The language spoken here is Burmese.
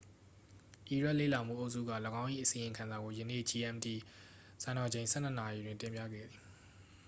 အီရတ်လေ့လာမှုအုပ်စုက ၎င်း၏ အစီရင်ခံစာကို ယနေ့ gmt စံတော်ချိန် 12.00 နာရီတွင် တင်ပြခဲ့သည်